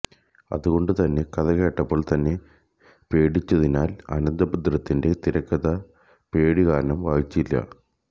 അതുകൊണ്ട് തന്നെ കഥകേട്ടപ്പോൾ തന്നെ പേടിച്ചതിനാൽ അനന്ദഭദ്രത്തിന്റെ തിരക്കഥ പേടി കാരണം വായിച്ചില്ല